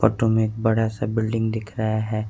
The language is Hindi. फोटो में एक बड़ा सा बिल्डिंग दिख रहा हैं।